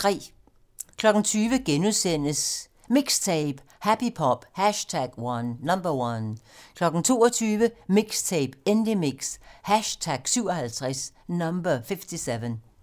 20:00: MIXTAPE - Happy Pop #1 * 22:00: MIXTAPE - Indiemix #57